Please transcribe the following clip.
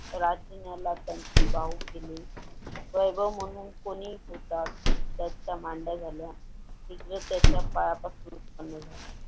राजण्याला त्यांचे बहू नेले वैभव म्हणून कोणते कोणीही घेतात त्याच्या मांड्या झाल्या एक दिवस त्याच्या पायापासून चालू झाल्या.